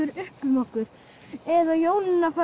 upp um okkur ef Jónína fær